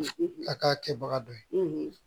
A k'a kɛbaga dɔ ye